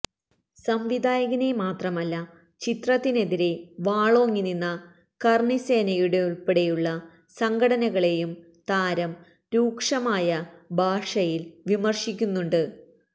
സംവിധായകനെ മത്രമല്ല ചിത്രത്തിനെതിരെ വാളോങ്ങി നിന്ന കർണിസേനയുടെപ്പെടെയുള്ള സംഘടനകളേയും താര രൂക്ഷമായ ഭാഷയിൽ വിമർശിക്കുന്നുണ്ട്